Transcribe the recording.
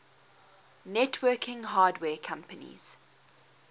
networking hardware companies